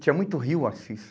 Tinha muito rio, o Assis.